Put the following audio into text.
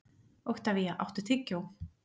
Oktavía, áttu tyggjó?